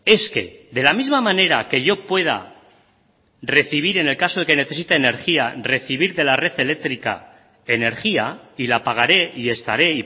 es que de la misma manera que yo pueda recibir en el caso de que necesite energía recibir de la red eléctrica energía y la pagaré y estaré